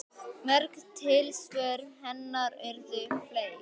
Mörg tilsvör hennar urðu fleyg.